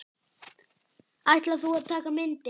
Ætlar þú að taka myndir?